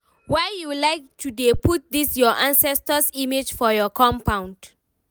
why you like to dey put this your ancestors image for your compound?